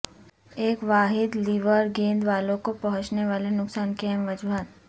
ایک واحد لیور گیند والو کو پہنچنے والے نقصان کی اہم وجوہات